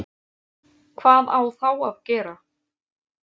Hvað á þá að gera?